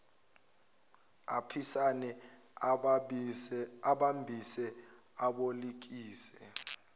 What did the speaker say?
aphisane abambise abolekise